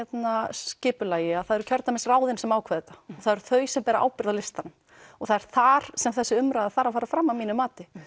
skipulagi að það eru kjördæmisráðin sem ákveða þetta og það eru þau sem bera ábyrgð á listanum og það er þar sem þessi umræða þarf að fara fram að mínu mati